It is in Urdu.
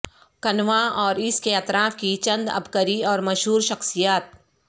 کنھواں اور اس کے اطراف کی چند عبقری اور مشہور شخصیات